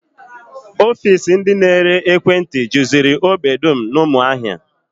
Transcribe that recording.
Ofiisi ndị na-ere ekwentị juziri ógbè dum n'ụmụahia